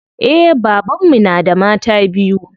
Eh baban mu na da mata biyu.